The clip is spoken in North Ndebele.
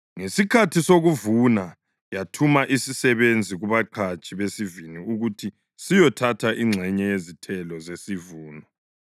Ngesikhathi sokuvuna yathuma isisebenzi kubaqhatshi besivini ukuthi siyothatha ingxenye yezithelo zesivuno.